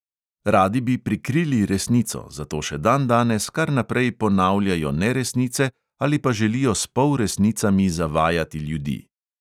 Radi bi prikrili resnico, zato še dandanes kar naprej ponavljajo neresnice ali pa želijo s polresnicami zavajati ljudi.